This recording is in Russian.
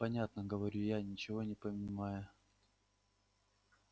понятно говорю я ничего не понимая